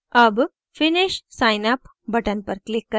अब finish sign up button पर click करें